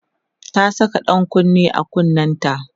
ta Saka ɗan kunne a kunnenta